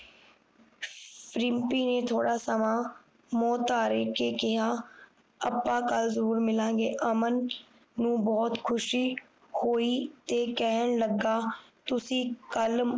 ਰਿਮਪੀ ਨੇ ਥੋੜ੍ਹਾ ਸਮਾਂ ਮੋਨ ਧਾਰਨ ਕਰਕੇ ਕਿਹਾ ਅੱਪਾ ਕੱਲ ਜਰੂਰ ਮਿਲਾਂਗੇ ਅਮਨ ਨੂੰ ਬੋਹੋਤ ਖੁਸ਼ੀ ਹੋਈ ਤੇ ਕਹਿਣ ਲੱਗਾ ਤੁਸੀਂ ਕੱਲ